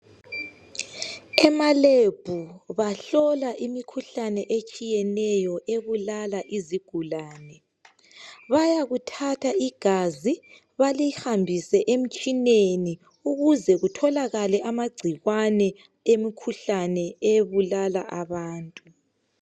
Emalebhu bahlola imikhuhlane etshiyeneyo ebulala izigulane bayakuthatha igazi balihambise emtshineni ukuze kutholakale amagcikwene emkhuhlane ebulala abantu.